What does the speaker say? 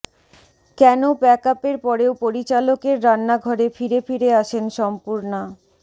কেন প্যাকআপের পরেও পরিচালকের রান্নাঘরে ফিরে ফিরে আসেন সম্পূর্ণা